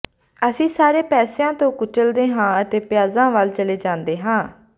ਅਸੀਂ ਸਾਰੇ ਪਾਸਿਆਂ ਤੋਂ ਕੁਚਲਦੇ ਹਾਂ ਅਤੇ ਪਿਆਜ਼ਾਂ ਵੱਲ ਚਲੇ ਜਾਂਦੇ ਹਾਂ